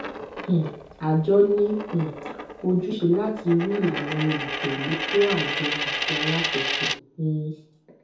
um àjọ ní um ojúṣe láti ri ìlànà olùtẹlé fún àjọ àti alákòóso um